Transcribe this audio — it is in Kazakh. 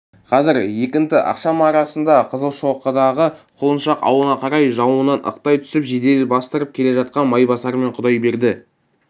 қазір екінті ақшам арасында қызылшоқыдағы құлыншақ аулына қарай жауыннан ықтай түсіп жедел бастырып келе жатқан майбасар мен құдайберді